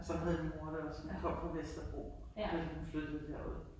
Sådan havde min mor det også. Hun kom fra Vesterbro da hun flyttede herud.